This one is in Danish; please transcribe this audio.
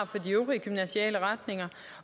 for de øvrige gymnasiale retninger